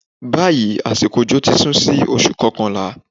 Báyìí, àsìkò òjò ti sún sí oṣù kọkànlá.